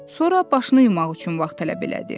Sonra başını yumaq üçün vaxt tələb elədi.